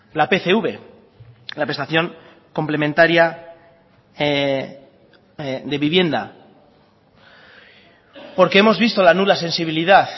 la pcv la prestación complementaria de vivienda porque hemos visto la nula sensibilidad